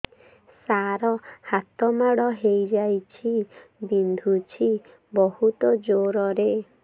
ସାର ହାତ ମାଡ଼ ହେଇଯାଇଛି ବିନ୍ଧୁଛି ବହୁତ ଜୋରରେ